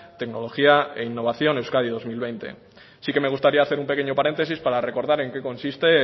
tecnología e innovación euskadi dos mil veinte sí que me gustaría hacer un pequeño paréntesis para recordar en que consiste